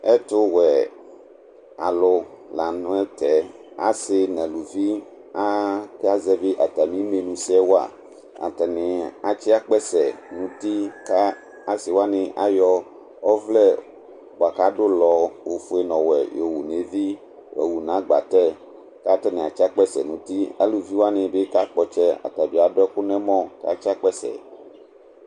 Ɛtu wuɛ alu la nu tɛ, asi n'aluvɩ aka zɛvi atami nenu sɛ wa Atani atsi akpɛsɛ nu ti, ka asi wani ayɔ ɔvlɛ bua k'adulɔ ofue n'ɔwɛ y'owu n'eʋi y'owu n'agbatɛ, k'atani atsi akpɛsɛ n'utɩ Aluʋi wa ni bi ka kpɔ'tsɛ ata bi adu ɛku n'ɛmɔ k'atsi akpɛsɛ